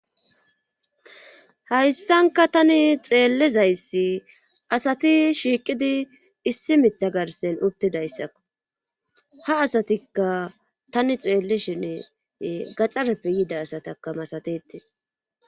hayssanka tani xeellizayssi asati shiiqidi issi mitha garsen uttidayssakko ha asatikka tani xeelleshene gaxareppe yida asatakka masatetes.